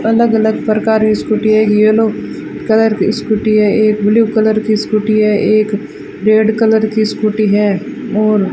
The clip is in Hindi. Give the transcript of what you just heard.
अलग अलग प्रकार की स्कूटी है येलो कलर की स्कूटी है एक ब्लू कलर की स्कूटी है एक रेड कलर की स्कूटी है और --